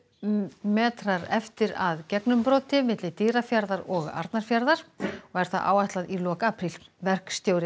metrar eftir að gegnumbroti milli Dýrafjarðar og Arnarfjarðar og er það áætlað í lok apríl verkstjóri